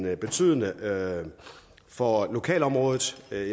af betydning for lokalområdet jeg